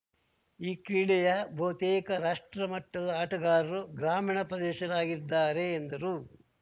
ಈ ಕ್ರೀಡೆಯ ಬಹುತೇಕ ರಾಷ್ಟ್ರಮಟ್ಟದ ಆಟಗಾರರು ಗ್ರಾಮೀಣ ಪ್ರದೇಶರಾಗಿದ್ದಾರೆ ಎಂದರು